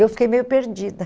Eu fiquei meio perdida.